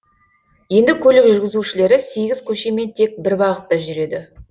енді көлік жүргізушілері сегіз көшемен тек бір бағытта жүреді